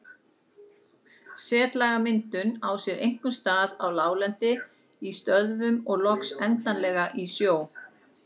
Setlagamyndun á sér einkum stað á láglendi, í stöðuvötnum og loks endanlega í sjó.